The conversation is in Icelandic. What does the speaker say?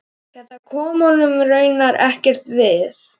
Þetta kom honum raunar ekkert við.